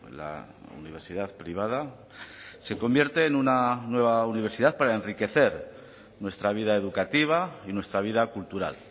la universidad privada se convierte en una nueva universidad para enriquecer nuestra vida educativa y nuestra vida cultural